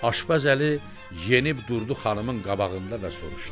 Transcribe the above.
Aşbaz Əli enib durdu xanımın qabağında və soruşdu.